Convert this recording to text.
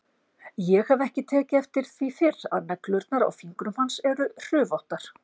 Ég hef ekki tekið eftir því fyrr að neglurnar á fingrum hans eru hrufóttar.